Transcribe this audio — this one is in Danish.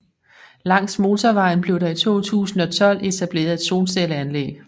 Langs motorvejen blev der i 2012 etableret et solcelleanlæg